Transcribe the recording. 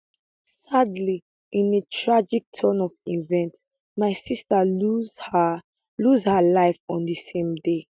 sadly in a tragic turn of events my sister lose her lose her life on di same day